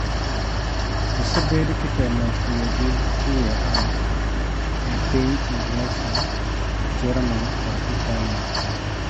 Osebed kitemo tiyo gi VAR e piny Ingresa, Jerman, kod Italia.